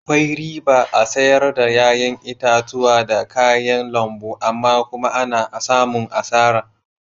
Akwai riba a'sayar da yayan itatuwa da kayan lambu amma kuma ana samun asara.